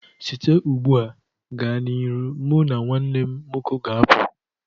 Site ugbu a gaa n'ihu, mụ na nwanne m nwoke ga-apụ